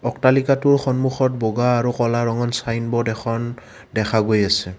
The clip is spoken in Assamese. অট্টালিকাটোৰ সন্মুখত বগা আৰু ক'লা ৰঙৰ ছাইনব'ৰ্ড এখন দেখা গৈ আছে।